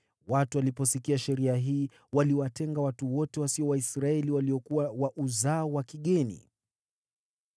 Watu waliposikia sheria hii, waliwatenga watu wote wasio Waisraeli waliokuwa wa uzao wa kigeni.